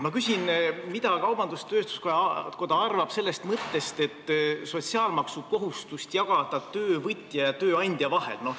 Ma küsin, mida kaubandus-tööstuskoda arvab sellest mõttest, et jagada sotsiaalmaksukohustust töövõtja ja tööandja vahel.